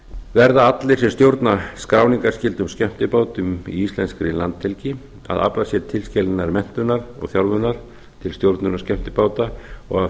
verða allir sem stjórna skráningarskyldum skemmtibátum í íslenskri landhelgi að afla sér tilskilinnar menntunar og þjálfunar til stjórnunar skemmtibáta og hafa